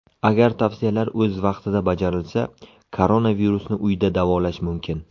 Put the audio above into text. Agar tavsiyalar o‘z vaqtida bajarilsa, koronavirusni uyda davolash mumkin.